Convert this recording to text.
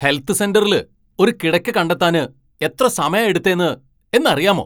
Health സെന്ററില് ഒരു കിടക്ക കണ്ടെത്താന് എത്ര സമയാ എടുത്തേ എന്നറിയാമോ.